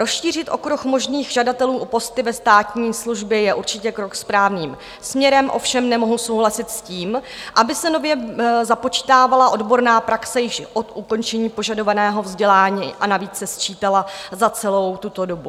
Rozšířit okruh možných žadatelů o posty ve státní službě je určitě krok správným směrem, ovšem nemohu souhlasit s tím, aby se nově započítávala odborná praxe již od ukončení požadovaného vzdělání, a navíc se sčítala za celou tuto dobu.